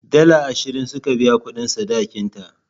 Dala ashirin suka biya kudin sadakin ta.